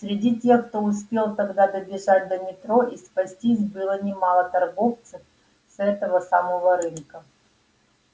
среди тех кто успел тогда добежать до метро и спастись было немало торговцев с этого самого рынка